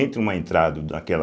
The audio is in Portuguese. Entre uma entrada daquela...